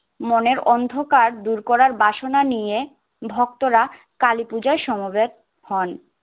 মনের অন্ধকার দূর করার বাসনা নিয়ে ভক্তরা কালিপুজায় সমবেত হন।